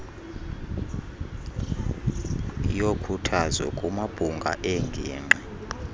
yokhuthazo kumabhunga eengingqi